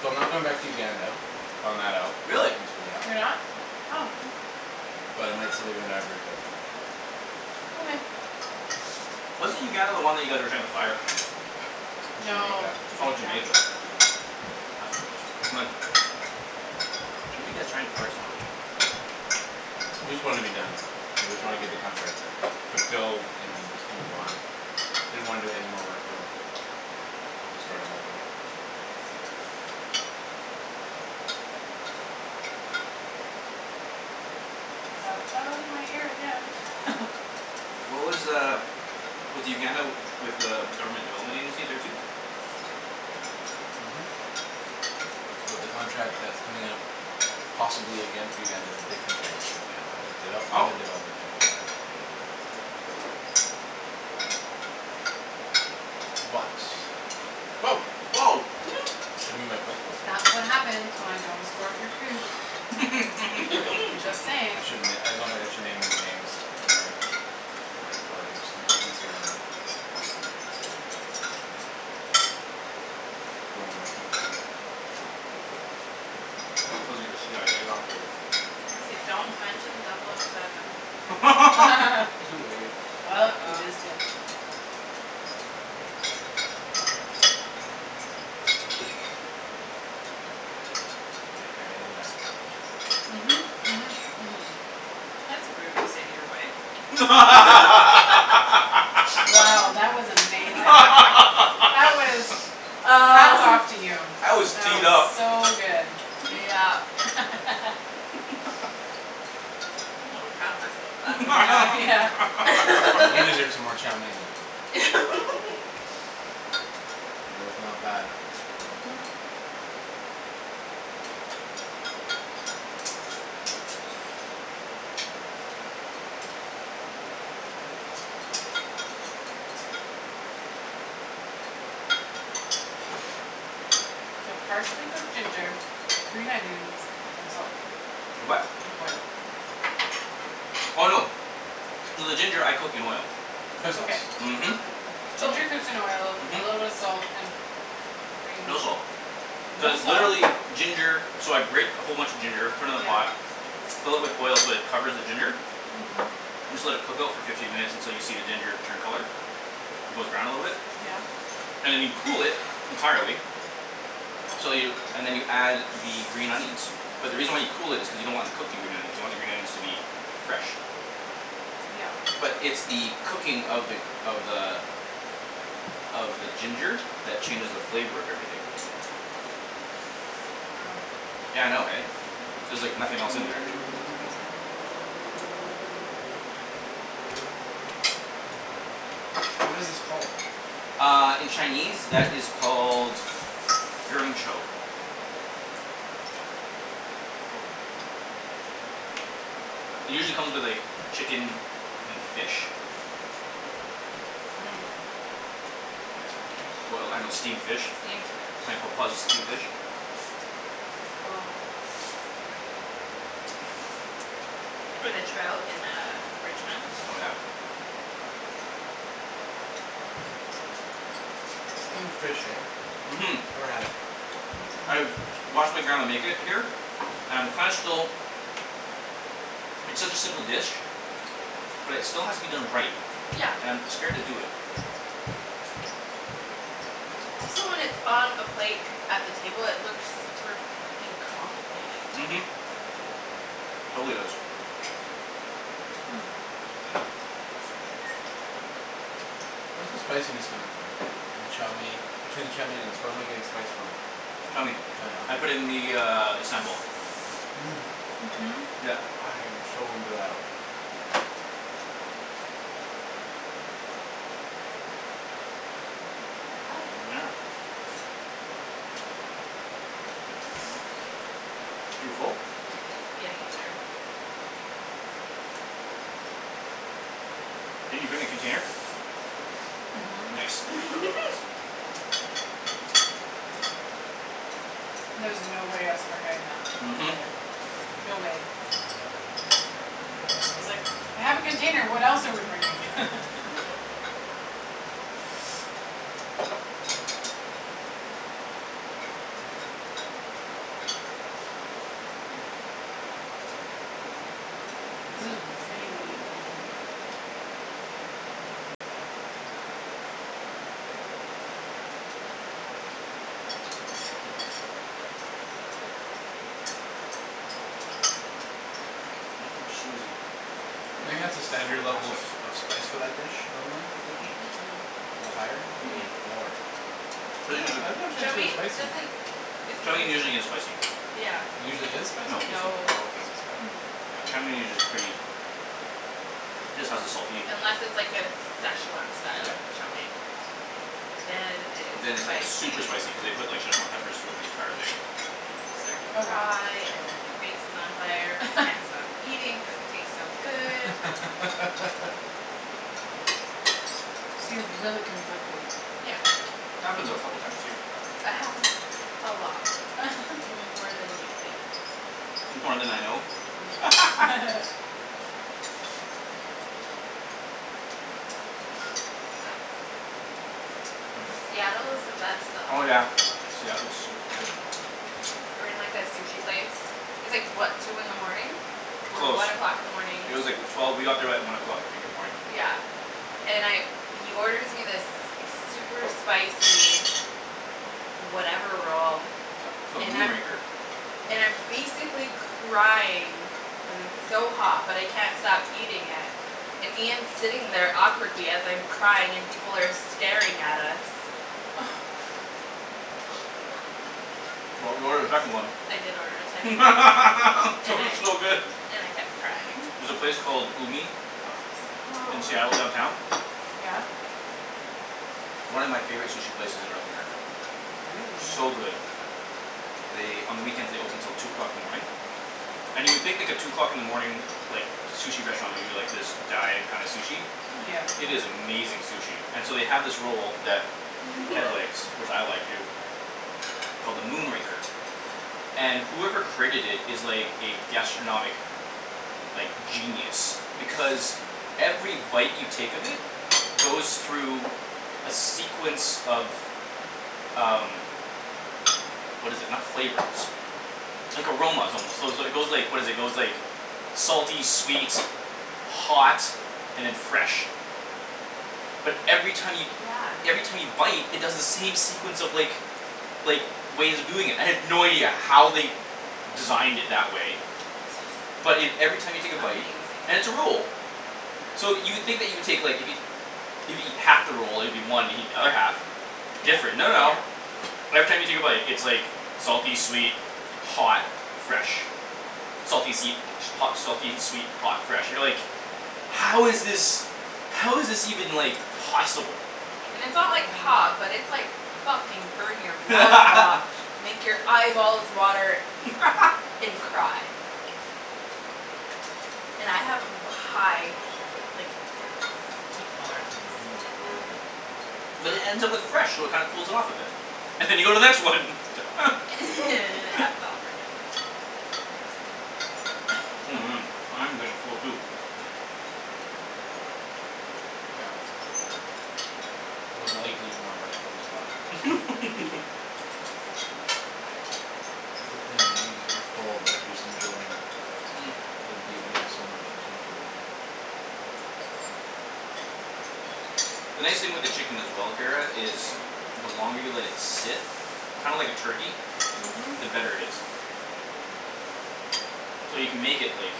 So I'm not going back to Uganda; I found that out, Really? recently, yeah. You're not? Nope. Oh. But I might still be going to Ivory Coast. Okay. Wasn't Uganda the one that you guys were trying to fire? That's No, Jamaica. Oh, Jamaica. Jamaica. That's what it was. My fire somebody. Just wanna be done. I just wanna get the Yeah. contract fulfilled and then just move on. Didn't wanna do any more work for them There's a story on that one. Fell out of my ear again. What was uh Was the Uganda with uh government development agency there too? Mhm. But the contract that's coming up possibly again for Uganda is a different bank in Uganda. Oh. Uga- Uganda But Woah. I should move my plate closer. That's what happens when I don't escort your food. Right. Just I saying. shouldn- I don't think I should name any names when we're recording, just to make it easier on them. Who I'm working for. Cuz you're a CIA operative. I say don't mention double o seven. Too late. Well, you just uh-oh. did. K, Kara, I need an escort. Mhm, mhm, mhm. That's rude to say to your wife. Wow, that was amazing. That was, hats Uh. off to you. That was That teed was up. so good. Yep. I'm a little proud of myself for that Yeah. You one. deserve some more chow mein. It was not bad. Mhm. So partially cooked ginger, green onions and salt. For what? And oil. Oh, no. So the ginger I cook in oil. Soy Okay. sauce. Mhm. Ginger cooks in oil, a little bit of Mhm. salt and green No salt. No Just salt? literally ginger. So I grate a whole bunch of ginger, put it in a yeah pot. fill it with oil so it covers the ginger Mhm. and just let it cook out for fifteen minutes until you see the ginger turn color. It goes brown a little bit. Yeah. And then you cool it entirely so you, and then you add the green onions. But the reason why you cool it is because you don't want to cook the green onions. You want the green onions to be fresh. Yep. But it's the cooking of the, of the of the ginger that changes the flavor of everything. Wow. Yeah, I know, eh? There's, like, nothing else in there. That's crazy. What is this called? Uh, in Chinese that is called Cool. It usually come with, like, chicken and fish. Boiled fish. Boil, I, I know, steamed fish. Steamed fish. steamed fish. With a trout in uh Richmond. Oh, yeah. Steamed fish, eh? Mhm. Never had it. I've watched my grandma make it here and kinda still It's such a simple dish. But it still has to be done right. And I'm scared to do it. Also when it's on a plate at the table it look super fuckin' Mhm. complicated. Totally does. Hmm. Where's the spiciness coming from? In the chow mein, between the chow mein and the where am I getting the spice from? Chow mein. Chow I mein, ok. put in the, uh, the sambal. Mmm, Mhm. Yep. I am so into that. Yeah. You full? Getting there. Did you bring a container? Mhm. Nice. There was no way I was forgetting that Mhm. today. No way. I was like, "I have a container what else are we bringing." This is really, really good. Hmm. Oh, Susie. Do you think that's a standard level of, of spice for that dish, normally? Mm- Mm- mm. mm. A little higher or Mm- little mm. lower? I'm not, I dunno if Chow Chinese food is mein spicy. doesn't isn't Chow mein usually usu- isn't spicy. Yeah. Usually is spicy? No, isn't. No. Oh, okay. So sorry. Mmm. Yeah, chow mein is usu- pretty just has a salty Unless it's, like, a Szechwan style Yep. chow mein. Then it Then is it's, like, super spicy. spicy cuz they put, like, Szechwan peppers throughout the entire thing. Uh and you start to Oh, wow. cry and your face is on fire but you can't stop eating cuz it tastes so good. So you're really conflicted. Happens a couple of times to you. It happens a lot, more than you'd think. More then I know? Yeah. Mmm. Seattle is the best Oh, Oh, though. yeah. yeah. Seattle's so far. We were in, like, a sushi place. It's, like, what, two in the morning? Or Close. one o'clock in the morning. It was like, wh- twelve, we got there at one o'clock, I think, in the morning. Yeah. And I, he orders me this super spicy whatever roll Yeah, it's called the and Moon I'm, Raker. and I'm basically crying cuz it's so hot but I can't stop eating it and Ian's sitting there awkwardly as I'm crying and people are staring at us. But we ordered a second one. I did order a second one. That And was I so good. and I kept crying. There's a place called Umi Oh, in so Seattle downtown. yummy. Yeah? One of my favorite sushi places in North America. Really. So good. They, on the weekends they open till two o'clock in the morning. And you would think, like, a two o'clock in the morning like, sushi restaurant would be, like, this dive kinda sushi. Yeah. Mm- It is mm. amazing sushi. And so they have this roll that Ped likes, which I like too called the Moon Raker. And whoever created it is, like, a gastronomic like, genius. Because every bite you take of it goes through a sequence of um what is it, not flavors like, aromas, almost, so is, it goes, like, what is it, it goes, like salty, sweet hot and then fresh. But every time you Yeah. every time you bite it does the same sequence of, like like, ways of doing it. I have no idea how they designed it that way but it, every time you take a bite, Amazing. and it's a roll. So you would think that you would take, like, if you if you eat half the roll, it would be one if you eat the other half. Different, no, no. Every time you take a bite, it's, like salty, sweet, hot fresh. Salty, seed hot, selfie, sweet hot, fresh, you know, like "How is this How is this even, like, possible?" And it's not, like, hot but it's, like, fucking burn-your-mouth hot. Make your eyeballs water and cry. And I have a ba- high like, heat tolerance. But it ends up with fresh so it kinda cools it off a bit. And you go to the next one. And it happens all over again. Oh, man, I'm getting full too. Yeah. I would like to eat more veg, but I'll stop. That's the thing, eh? You're full but you're just enjoying The nice thing with the chicken as well, Kara, is the longer you let it sit kinda like a turkey, Mhm. the better it is. So you can make it, like